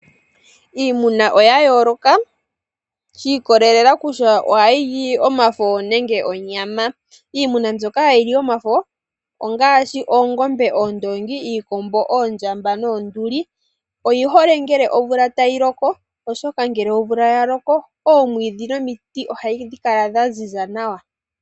Iimuna oya yooloka shi ikolelela kutya ohayi li omafo nenge onyama. Iimuna mbyoka hayi li omafo ongaashi oongombe, oondongi, iikombo, oondjamba noonduli. Oyi hole ngele omvula tayi loko, oshoka ngele omvula ya loko omwiidhi nomiti ohadhi kala dha ziza nawa.